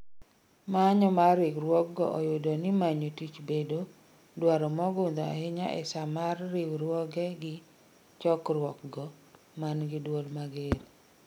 Manyo mar riwruogno oyudo ni manyo tich bedo "dwaro mogudho ahinya ee saa mar riwre gi chokruok go" mangi duol mager